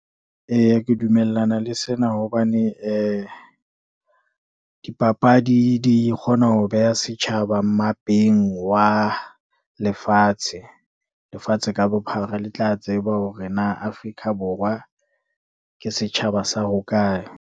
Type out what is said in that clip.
Eya ke dumellana le sena hobane, dipapadi di kgona ho beha setjhaba mmapeng wa lefatshe. Lefatshe ka bophara le tla tseba hore na Afrika Borwa ke setjhaba sa hokae.